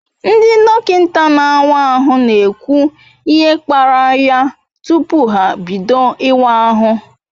Ndi dokinta na awa ahu na ekwu ihe kparaya tupu ha bido iwa ahu